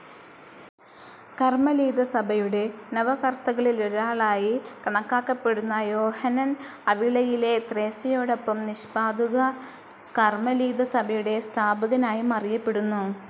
കർമലീതസഭയുടെ നവകർത്തകളിലൊരാളായി കണക്കാക്കപ്പെടുന്ന യോഹാനൻ, അവിളയിലെ ത്രേസ്യയോടൊപ്പം നിഷ്പാദുക കർമലീതസഭയുടെ സ്ഥാപകനായും അറിയപ്പെടുന്നു.